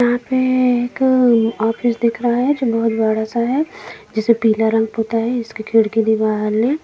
यहां पर एक ऑफिस दिख रहा है जो बहुत बड़ा सा है जिसे पीला रंग होता है इसके खिड़की दीवार है।